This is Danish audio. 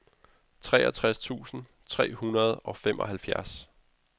treogtres tusind tre hundrede og femoghalvfjerds